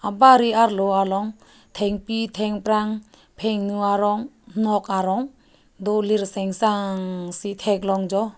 bari arlo along thengpi thengprang phenu arong nok arong do lirsengsang si theklong jo.